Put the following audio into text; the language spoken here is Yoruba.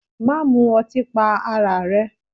Má mu ọtí pa ara rẹ!